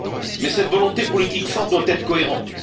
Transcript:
Mais cette volonté politique forte doit être cohérente.